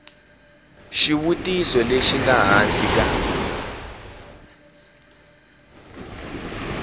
xivutiso lexi nga hansi ka